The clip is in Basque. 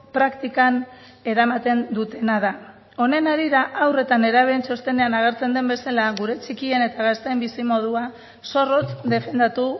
praktikan eramaten dutena da honen harira haur eta nerabeen txostenean agertzen den bezala gure txikien eta gazteen bizimodua zorrotz defendatu